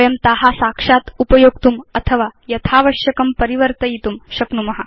वयं ता साक्षात् उपयोक्तुम् अथवा यथावश्यकं परिवर्तयितुं शक्नुम